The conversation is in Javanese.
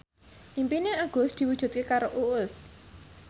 impine Agus diwujudke karo Uus